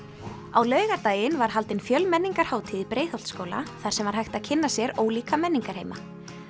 á laugardaginn var haldin í Breiðholtsskóla þar sem var hægt að kynna sér ólíka menningarheima